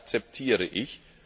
Das akzeptiere ich.